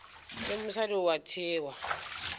le mosadi o a thewa